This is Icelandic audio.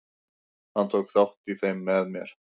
Hann tók þátt í þeim með mér.